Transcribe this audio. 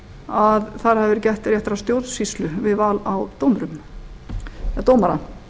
að þar hafi verið gætt réttrar stjórnsýslu við val á dómara